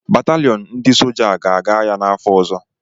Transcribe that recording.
Batalịon ndị soja a ga-aga agha n'afọ ọzọ